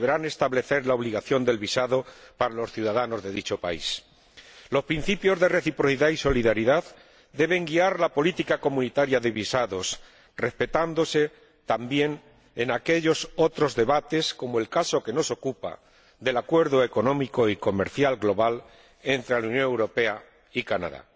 establecerán la obligación del visado para los ciudadanos de dicho país. Los principios de reciprocidad y solidaridad deben guiar la política comunitaria de visados, respetándose también en aquellos otros debates, como el caso que nos ocupa, acerca del Acuerdo económico y comercial global entre la Unión Europea y Canadá.